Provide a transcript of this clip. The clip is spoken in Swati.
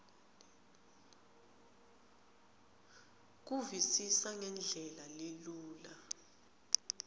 kuvisisa ngendlela lelula